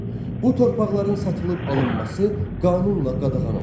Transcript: Bu torpaqların satılıb alınması qanunla qadağan olunsun.